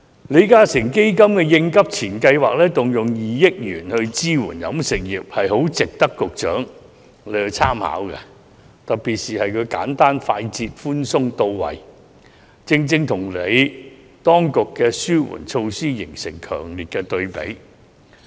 李嘉誠基金會的"應急錢"計劃，動用2億元支援飲食業，是很值得局長參考的，該計劃特點是簡單、快捷、寬鬆和到位，正正與當局的紓困措施形成強烈對比。